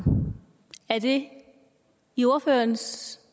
er det i ordførerens